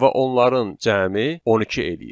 Və onların cəmi 12 eləyir.